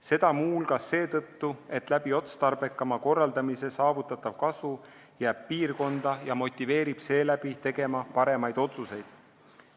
Seda muu hulgas seetõttu, et otstarbekama korraldamisega saavutatav kasu jääb piirkonda ja motiveerib tegema paremaid otsuseid.